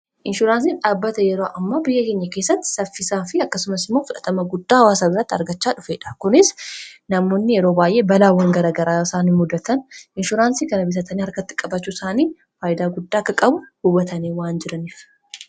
inshuraansiin dhaabata yeroo ammo biyya keenya keessatti saffisaa fi akkasumas imoo f0a guddaa waasa biratti argachaa dhufeedha kunis namoonni yeroo baay'ee balaawwangaragaraa isaan hin muddatan inshuraansii kana bisatanii harkatti qabacuu isaanii faayidaa guddaa akka qabu hubatanii waan jiraniif